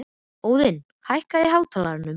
Óðinn, hækkaðu í hátalaranum.